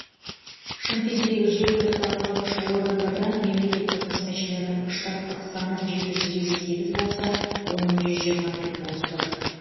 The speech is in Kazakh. шымкенттегі жергілікті атқарушы органдарда мемлекеттік қызметшілердің штаттық саны жеті жүз елу сегіз болса оның жүз жиырма бірі бос тұр